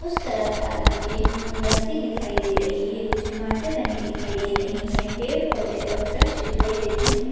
उस तरफ तालाब के अम्म बस्ती दिखाई दे रही है कुछ इमारतें बनी दिखाई दे रही है पेड़ पौधे और वृक्ष दिखाई दे रहे हैं।